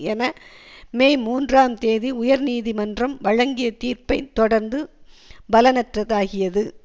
என மே மூன்றாம் தேதி உயர் நீதிமன்றம் வழங்கிய தீர்ப்பைத் தொடர்ந்து பலனற்றதாகியது